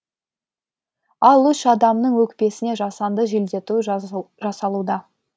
ал үш адамның өкпесіне жасанды желдету жасалуда